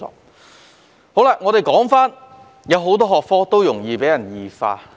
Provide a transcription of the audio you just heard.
為甚麼剛才我會說很多學科容易被異化？